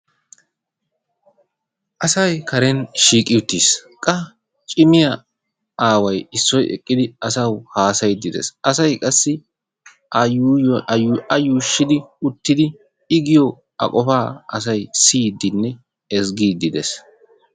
Asay karen shiiqi uttis. Qa cimmiya aaway issoy eqqidi asawu hasayiidi de'ees. Asay qassi A yuuyuwan A yuushidi uttidi i giyo a qofaa asay siyiidinne ezgiiddi de'ees.